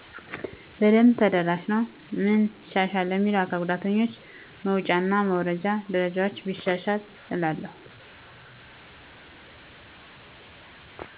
በደብ ተደራሽ ነወ። ምን ማሻሻያ ለሚለው ለአካል ጉዳተኛው መወጫ እና መውረጃ ደረጃወችን ቢሻሻል እላለው።